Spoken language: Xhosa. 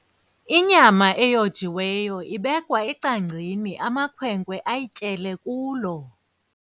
Inyama eyojiweyo ibekwaecangcini amakhwenkwe ayityele kulo.